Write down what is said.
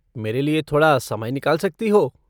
मेरे लिये थोड़ा समय निकाल सकती हो?